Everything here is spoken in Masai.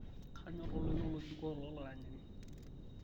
kanyor oltoilo lobikoo lolaranyani